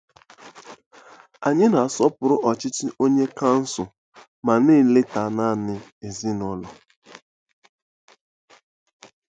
Anyị na-asọpụrụ ọchịchọ onye kansụl ma na-eleta naanị ezinụlọ.